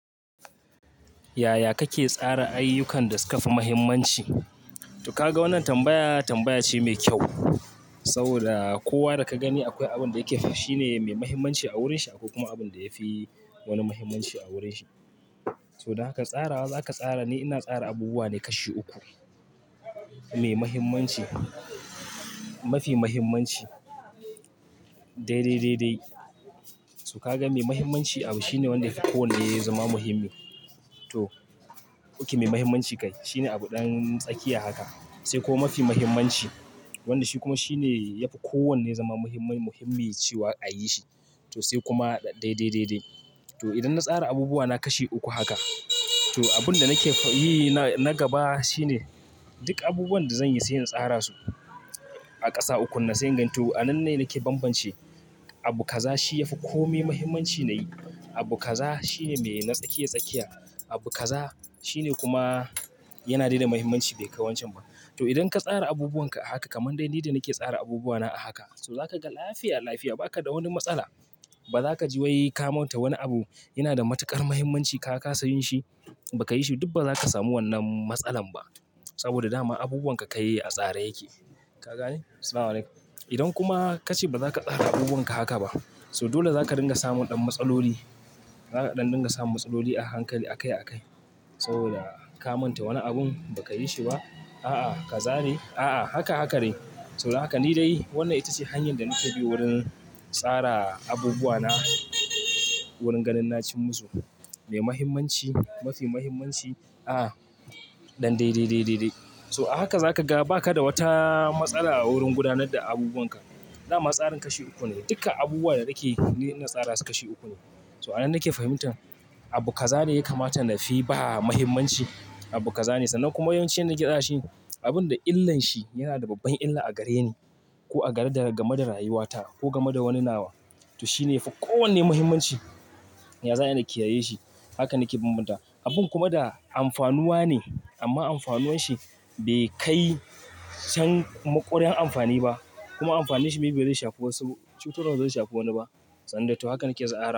Yaya kake tsara ayyukan da suka fi muhimmanci? To ka ga wannan tambaya tambaya ce mai kyau saboda kowa da ka gani akwai abin da yake fa shine mai muhimmanci a wurin shi akwai kuma abin da yafi wani muhimmanci a wurin shi. To don haka tsarawa za ka tsara ne. Ina tsara abubuwa ne kashi uku, mai muhimmanci, mafi muhimmanci, dai dai dai dai. To ka ga mai muhimmanci abu shine wanda yafi kowanne zama muhimmi. To, okay mai muhimmanci kai shine abu ɗan tsakiya haka sai kuma mafi muhimmanci wanda shi kuma shine yafi kowanne zama muhimmin muhimmin cewa a yi shi to sai kuma dai dai dai dai. To idan na tsara abubuwa na kashi uku haka to abun da nake yi na gaba shine duk abubuwan da zan yi sai in tsara su a kasa uku nan, sai inganto. A nan ne nake banbance abu kaza shi yafi komi muhimmanci na yi. Abu kaza shi ne mai na tsakiya tsakiya. Abu kaza shi ne kuma yana da dai da muhimmanci bai kai wancan ba. To idan ka tsara abubuwan ka a haka kaman dai ni da nake tsara abubuwa na a haka, to zaka ga lafiya lafiya ba ka da wani matsala. Ba za ka ji wai ka manta wani abu yana da matuƙar muhimmanci ka kasa yin shi ba ka yi shi duk ba za ka samu wannan matsalan ba saboda dama abubuwan ka kai a tsare yake. Ka gane? Assalamualaikum. Idan kuma ka ce ba za ka tsara abubuwan ka haka ba so dole za ka dinga samun ɗan matsaloli. Zaka ɗan dinga samun matsaloli a hankali a kai a kai saboda ka manta wani abun ba ka yi shi ba. A'a ka zane a'a haka haka dai. To don haka ni dai wannan ita ce hanyar da nake bi wurin tsara abubuwa na wurin ganin na cimmu su. Mai muhimmanci, mafi muhimmanci. A'a. Ɗan dai dai dai dai dai. So a haka za ka ga ba ka da wata matsala wurin gudanar da abubuwan ka. Da ma tsarin kashi uku ne duka abubuwa da nake yi ni ina tsara su kashi uku ne. To a nan nake fahimtan abu kaza ne ya kamata na fi ba muhimmanci abu kaza ne sannan kuma yawancin yanda nike tsarashi abun da illan shi yana da babban illa a gare ni ko a gare daga game da rayuwata ko game da wani nawa. To shine yafi kowanne muhimmanci. Ya za ayi na kiyaye shi. Haka nake banbantawa. Abun kuma da amfanuwa ne amma amfanuwan shi bai kai can maƙurar amfani ba kuma amfanin shi maybe ba zai shafi wasu cutarwa ba zai shafi wani ba. Wanda to hakan nake tsara.